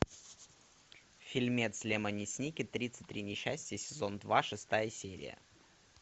фильмец лемони сникет тридцать три несчастья сезон два шестая серия